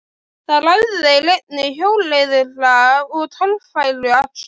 Þar æfðu þeir einnig hjólreiðar og torfæruakstur.